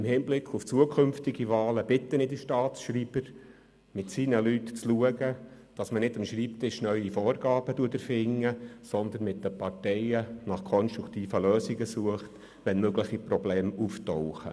Im Hinblick auf zukünftige Wahlen bitte ich den Staatsschreiber, mit seinen Leuten dafür zu sorgen, dass man nicht am Schreibtisch neue Vorgaben erfindet, sondern mit den Parteien nach konstruktiven Lösungen sucht, wenn mögliche Probleme auftauchen.